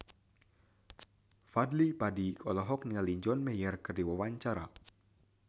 Fadly Padi olohok ningali John Mayer keur diwawancara